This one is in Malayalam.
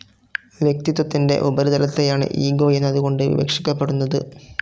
വ്യക്തിത്വത്തിൻ്റെ ഉപരിതലത്തെയാണ് ഇഗോ എന്നതുകൊണ്ട് വിവക്ഷിക്കപ്പെടുന്നത്.